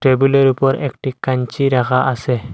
টেবিলের উপর একটি কাঞ্চি রাখা আছে।